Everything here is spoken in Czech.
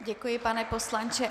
Děkuji, pane poslanče.